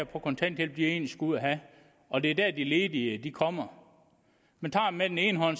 på kontanthjælp egentlig skulle have og det er der de ledige kommer man tager med den ene hånd